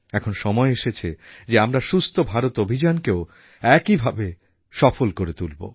এখন সময় এসেছে যে আমরা সুস্থ ভারত অভিযানকেও একই ভাবে সফল করে তুলব